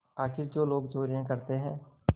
आखिर जो लोग चोरियॉँ करते हैं